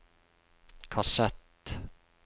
kassett